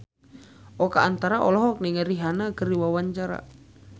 Oka Antara olohok ningali Rihanna keur diwawancara